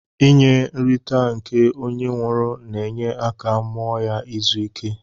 Inye nrita nke onye nwụrụ na enye aka mụọ ya izụ ike.